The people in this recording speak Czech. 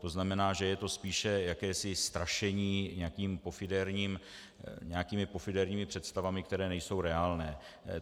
To znamená, že je to spíše jakési strašení nějakými pofidérními představami, které nejsou reálné.